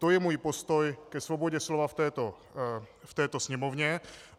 To je můj postoj ke svobodě slova v této sněmovně.